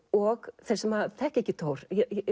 og þeir sem þekkja ekki Thor